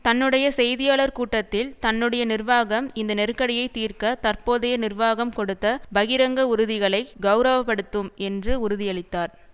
தன்னுடைய செய்தியாளர் கூட்டத்தில் தன்னுடைய நிர்வாகம் இந்த நெருக்கடியை தீர்க்க தற்போதைய நிர்வாகம் கொடுத்த பகிரங்க உறுதிகளை கெளரவப்படுத்தும் என்று உறுதியளித்தார்